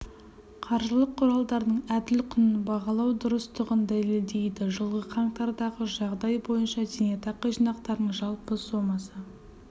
қаржылық құралдардың әділ құнын бағалау дұрыстығын дәлелдейді жылғы қаңтардағы жағдай бойынша зейнетақы жинақтарының жалпы сомасы